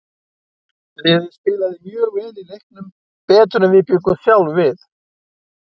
Liðið spilaði mjög vel í leiknum, betur en við bjuggumst sjálfir við.